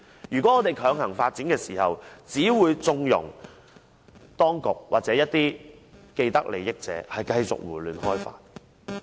如果我們強行發展，只會縱容當局或一些既得利益者繼續胡亂開發。